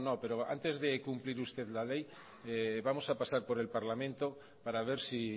no antes de cumplir usted la ley vamos a pasar por el parlamento para ver si